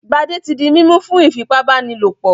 Gbadé ti di mímú fún iìfipábánilòpọ̀.